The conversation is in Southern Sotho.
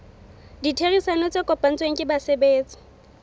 ditherisano tse kopanetsweng ke basebetsi